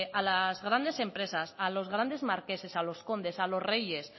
a las grandes empresas a los grandes marqueses a los condes a los reyes